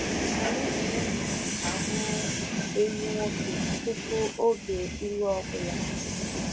Anyị na-enyo ahụ́ ehi nwoke tupu oge ịlụ ọ bụla.